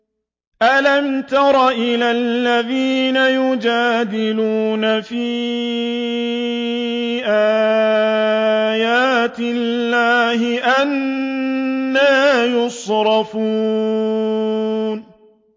أَلَمْ تَرَ إِلَى الَّذِينَ يُجَادِلُونَ فِي آيَاتِ اللَّهِ أَنَّىٰ يُصْرَفُونَ